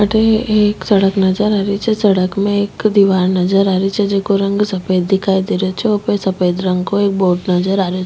अठे एक सड़क नजर आ रो छे सड़क में एक दिवार नजर आरि छे जेको रंग सफेद दिखाई दे रो छे ऊपर सफेद रंग को एक बोर्ड नजर आरो --